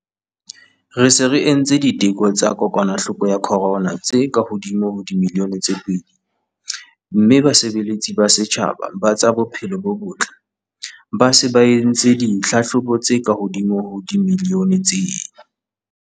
Re se re entse diteko tsa kokwanahloko ya corona tse ka hodimo ho dimilione tse pedi mme basebeletsi ba setjhaba ba tsa bophelo bo botle ba se ba entse ditlhahlobo tse kahodimo ho dimilione tse.